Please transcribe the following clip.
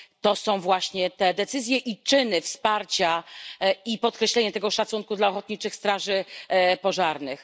To są właśnie te decyzje i czyny wsparcia, i podkreślenie tego szacunku dla ochotniczych straży pożarnych.